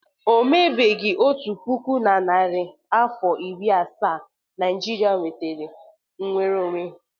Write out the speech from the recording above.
O mebeghi otu puku na narị afọ iri asaa Naịjirịa nwetara mnwere onwe.